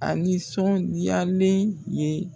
A nisɔndiyalen ye